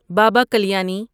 Baba Kalyani